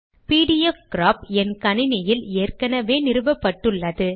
பிடிஎஃப்கிராப் என் கணினியில் ஏற்கெனெவே நிறுவப்பட்டுள்ளது